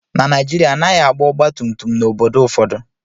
Na Naijiria, a naghị agba ọgba tum tum n’obodo ụfọdụ